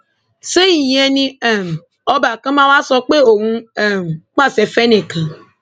ṣé ìyẹn ni um ọba kan máa wá sọ pé òun ń um pàṣẹ fẹnìkan